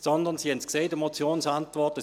» Sie haben es in der Motionsantwort gesehen: